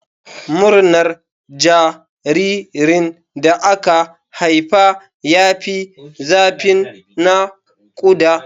Murnar jaririn da aka haifa ya fi zafin naƙuda.